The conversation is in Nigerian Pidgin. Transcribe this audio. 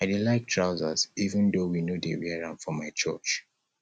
i dey like trousers even though we no dey wear am for my church